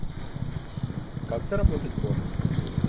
как заработать бонусы